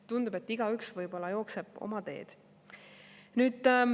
Tundub, et igaüks jookseb oma teed.